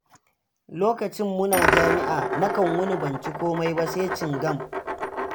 Lokacin muna jami'a, nakan wuni ban ci komai ba sai cingam